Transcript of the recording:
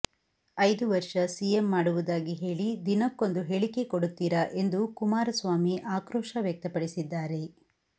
ಐದು ವರ್ಷ ಸಿಎಂ ಮಾಡುವುದಾಗಿ ಹೇಳಿ ದಿನಕ್ಕೊಂದು ಹೇಳಿಕೆ ಕೊಡುತ್ತೀರಾ ಎಂದು ಕುಮಾರಸ್ವಾಮಿ ಆಕ್ರೋಶ ವ್ಯಕ್ತಪಡಿಸಿದ್ದಾರೆ